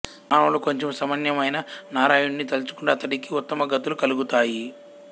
మానవులు కొంచము సమయమైనా నారాయణుడిని తలచుకుంటే అతడికి ఉత్తమగతులు కలుగుతాయి